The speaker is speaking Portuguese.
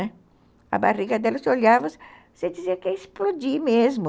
A barriga dela, se olhava, você dizia que ia explodir mesmo.